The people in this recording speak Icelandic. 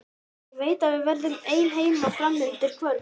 Ég veit að við verðum ein heima fram undir kvöld.